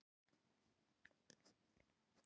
Svo er ég fjórum kílóum þyngri en áður en ég varð ólétt.